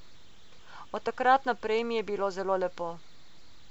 Od takrat naprej mi je bilo zelo lepo.